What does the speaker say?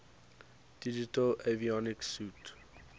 digital avionics suite